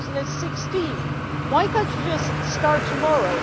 2016? Why cannot you just start tomorrow?